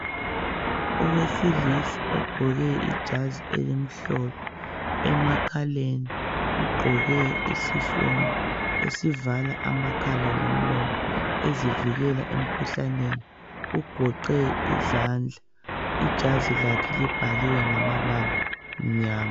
Owesilisa ogqoke ijazi elimhlophe emakhaleni ugqoke isifonyo esivala amakhala lomlomo ezivikela emkhuhlaneni ugoqe izandla ijazi lakhe libhaliwe ngamabala amnyama.